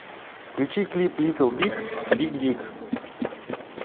включи клип литл биг биг дик